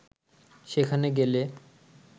সেখানে গেলে